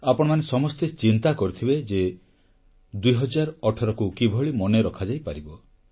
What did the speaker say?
ଆପଣମାନେ ସମସ୍ତେ ଚିନ୍ତା କରିଥିବେ ଯେ 2018କୁ କିଭଳି ମନେ ରଖାଯାଇପାରିବ